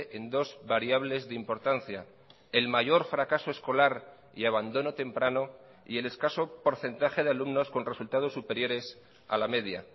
en dos variables de importancia el mayor fracaso escolar y abandono temprano y el escaso porcentaje de alumnos con resultados superiores a la media